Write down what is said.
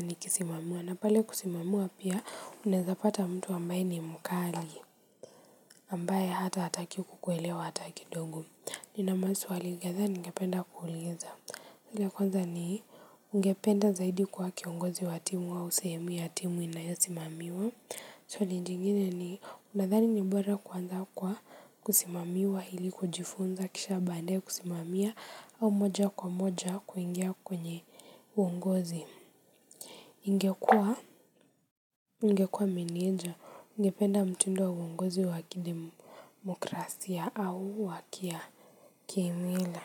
nikisimamiwa. Na pale kusimamiwa pia, unaweza pata mtu ambaye ni mkali, ambaye hata hataki kukuelewa hata kidogo. Nina maswali kadhaa ningependa kuuliza. Ile ya kwanza ni ungependa zaidi kuwa kiongozi wa timu wa sehemu ya timu inayosimamiwa. Swali jingine ni unadhani ni bora kwanza kwa kusimamiwa ili kujifunza kisha baadaye kusimamia au moja kwa moja kuingia kwenye uongozi. Ningekuwa, ningekuwa meneja, ningependa mtindo wa uongozi wa kidemokrasia au wakia kimila.